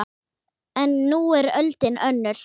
En nú er öldin önnur.